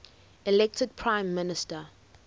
elected prime minister